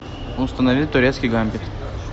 установи турецкий гамбит